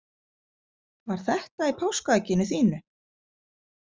Var þetta í páskaegginu þínu?